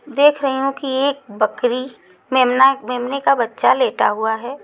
देख रहे हो कि एक बकरी मेमना मेमने का बच्चा लेटा हुआ है।